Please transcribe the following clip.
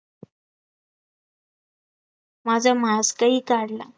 माझा mask ही काढला